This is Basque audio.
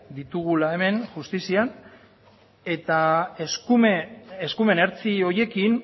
ditugula hemen justizian eta eskumen ertzi horiekin